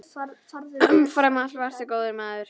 Umfram allt varstu góður maður.